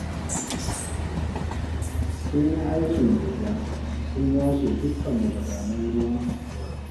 Sun yin aikin gayya sun yashe dukka magudanan ruwan anguwar